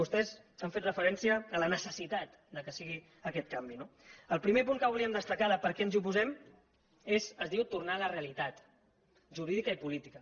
vostès han fet referència a la necessitat que sigui aquest canvi no el primer punt que volíem destacar de per què ens hi oposem es diu tornar a la realitat jurídica i política